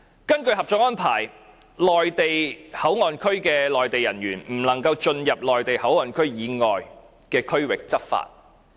根據《合作安排》，內地口岸區的內地人員不能進入內地口岸區以外的區域執法。